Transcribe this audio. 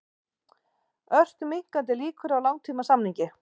Ört minnkandi líkur á langtímasamningi